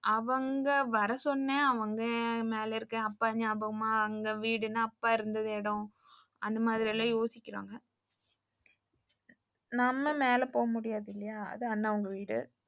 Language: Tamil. அவங்க வர சொன்னேன் அவங்க மேல இருக்கேன் அப்ப நியாபகமா அங்க வீடுனா அப்பா இருந்த இடம் அந்த மாதிரிலாம் யோசிக்குறாங்க. நம்ம மேல போக முடியாதில்லையா அது அண்ணாவுங்க வீடு.